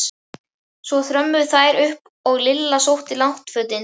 Svo þrömmuðu þær upp og Lilla sótti náttfötin.